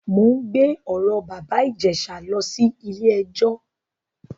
Mò ń gbé ọ̀rọ̀ bàbá Ìjẹ̀ṣà lọ sí ilé-ẹjọ.